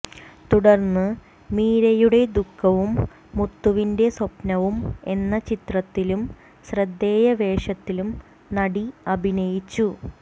തുടര്ന്ന് മീരയുടെ ദുഖവും മുത്തുവിന്റെ സ്വപ്നവും എന്ന ചിത്രത്തിലും ശ്രദ്ധേയ വേഷത്തിലും നടി അഭിനയിച്ചു